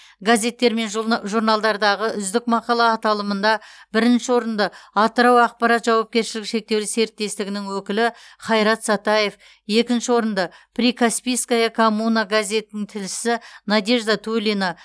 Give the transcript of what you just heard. газеттер мен журна журналдардағы үздік мақала аталымында бірінші орынды атырау ақпарат жауапкершілігі шектеулі серіктестігінің өкілі хайрат сатаев екінші орынды прикаспийская коммуна газетінің тілшісі надежда тулина